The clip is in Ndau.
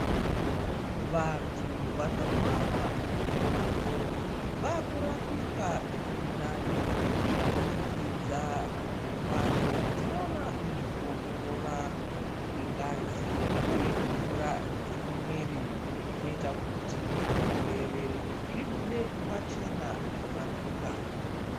Vanthu vanorwara mukore uno vaakurapike zvirinani kubudikidza ngembatso dzinoona nezvekuongorora kwengazi uye mvura dzemuviri zvinoita kuti zvirwere zvibude pachena zvorapika.